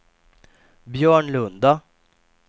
Björnlunda